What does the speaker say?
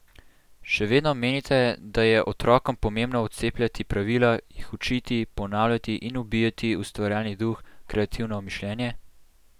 Še vedno menite, da je otrokom pomembno vcepljati pravila, jih učiti, ponavljati in ubijati ustvarjalni duh, kreativno mišljenje?